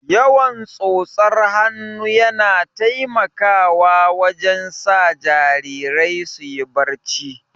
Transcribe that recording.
Yawan tsotsar hannu yana taimakawa wajen sa jarirai suyi barci